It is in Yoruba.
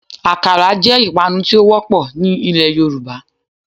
Àkàrà jẹ́ ìpanu tí ó wọ́pọ̀ ní ilẹ̀ Yorùbá